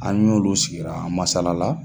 An'olu sigira, an masala.